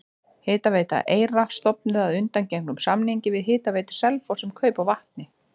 Hitaveita Eyra stofnuð að undangengnum samningi við Hitaveitu Selfoss um kaup á vatni.